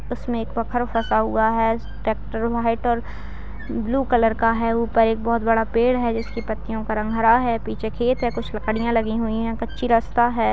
उसमें एक फंसा हुआ है ट्रेक्टर व्हाइट और ब्लू कलर का है| ऊपर एक बोहोत बड़ा पेड़ है जिसकी पत्तियों का रंग हरा है पीछे खेत है कुछ लकड़ियां लगी हुई है कच्ची रस्ता है ।